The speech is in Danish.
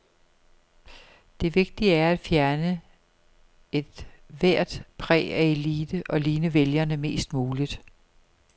Det vigtige er at fjerne et hvert præg af elite og ligne vælgerne mest muligt.